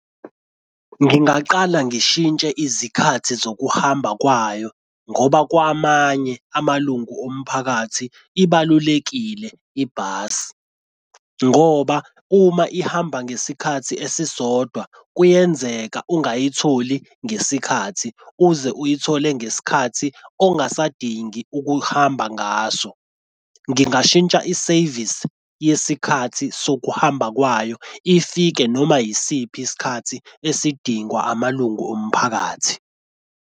Ngingaqala ngishintshe izikhathi zokuhamba kwayo ngoba kwamanye amalungu omphakathi ibalulekile ibhasi, ngoba uma ihamba ngesikhathi esisodwa kuyenzeka ungayitholi ngesikhathi uze uyithole ngesikhathi ongasadingi ukuhamba ngaso. Ngingashintsha isevisi yesikhathi sokuhamba kwayo ifike noma yisiphi isikhathi esidingwa amalungu omphakathi.